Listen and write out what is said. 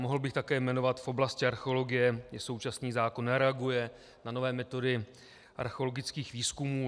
Mohl bych také jmenovat v oblasti archeologie, kde současný zákon nereaguje na nové metody archeologických výzkumů.